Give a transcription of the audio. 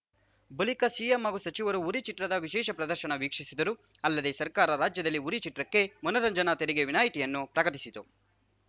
ಬಳಿಕ ಸಿಎಂ ಹಾಗೂ ಸಚಿವರು ಉರಿ ಚಿತ್ರದ ವಿಶೇಷ ಪ್ರದರ್ಶನ ವೀಕ್ಷಿಸಿದರು ಅಲ್ಲದೆ ಸರ್ಕಾರ ರಾಜ್ಯದಲ್ಲಿ ಉರಿ ಚಿತ್ರಕ್ಕೆ ಮನರಂಜನಾ ತೆರಿಗೆ ವಿನಾಯ್ತಿಯನ್ನೂ ಪ್ರಕಟಿಸಿತು